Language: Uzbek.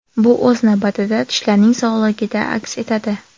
Bu, o‘z navbatida, tishlarning sog‘ligida aks etadi.